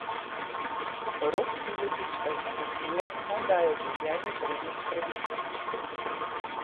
Rok Piletič pa jim svetuje, naj dajo življenju prednost pred izpiti.